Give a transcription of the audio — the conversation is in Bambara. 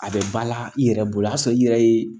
A bɛ ba la i yɛrɛ bolo a y'a sɔrɔ i yɛrɛ ye